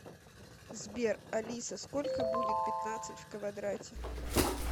сбер алиса сколько будет пятнадцать в квадрате